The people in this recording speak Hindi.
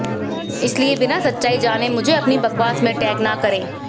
इसलिए बिना सच्चाई जाने मुझे अपनी बकवास में टैग ना करें